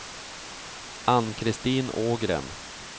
Ann-Kristin Ågren